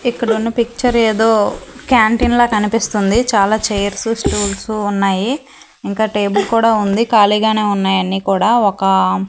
ఇక్కడున్న పిక్చర్ ఏదో క్యాంటీ లా కనిపిస్తుంది చాలా చైర్స్ స్టూల్స్ ఉన్నాయి ఇంకా టేబుల్ కూడా ఉంది ఖాళీగానే ఉన్నయాన్ని కూడా ఒక.